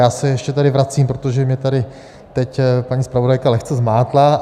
Já se ještě tady vracím, protože mě tady teď paní zpravodajka lehce zmátla.